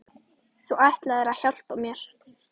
Þú ætlaðir að hjálpa mér.